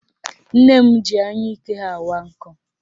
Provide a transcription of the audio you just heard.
Nne m ji anyụike ha awa nkụ